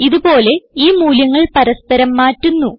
ഇത്പോലെ ഈ മൂല്യങ്ങൾ പരസ്പരം മാറ്റുന്നു